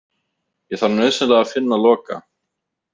Ég þarf nauðsynlega að finna Loka.